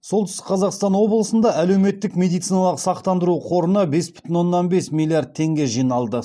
солтүстік қазақстан облысында әлеуметтік медициналық сақтандыру қорына бес бүтін оннан бес миллиард теңге жиналды